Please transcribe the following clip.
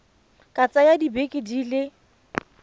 ka tsaya dibeke di le